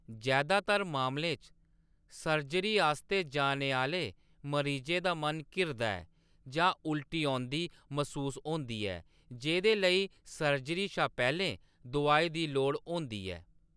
जैदातर मामलें च, सर्जरी आस्तै जाने आह्‌‌‌ले मरीजें दा मन घिरदा ऐ जां उल्टी औंदी मसूस होंदी ऐ जेह्‌दे लेई सर्जरी शा पैह्‌‌‌लें दोआई दी लोड़ होंदी ऐ।